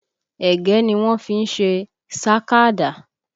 Ẹ̀gẹ́ ni wọ́n fí ń ṣe sàkádà